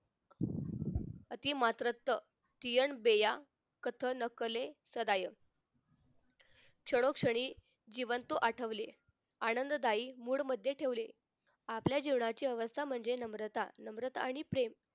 अति मात्रस्थ तियांबेया कथनकले सदाय क्षणोक्षणी जीवांतु आठवले आनंददायी mood मध्ये ठेवले आपल्या जीवनाची अवस्था म्हणजे नम्रता नम्रता आणि प्रेम